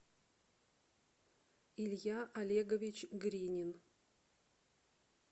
илья олегович гринин